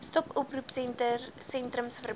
stop oproepsentrums verbind